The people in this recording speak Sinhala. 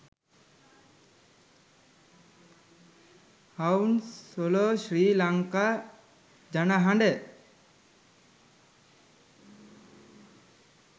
හවුන්ස්ලෝ ශ්‍රී ලංකා ජනහඬ